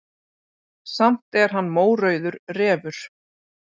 Samt er hann mórauður refur.